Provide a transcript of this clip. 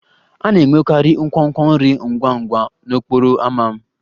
A na-enwekarị nkwonkwo nri ngwa ngwa n'okporo ámá m